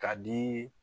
K'a dii